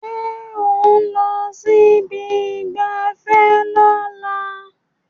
Ṣé ò ń lọ sí ibi ìgbafẹ́ lọ́la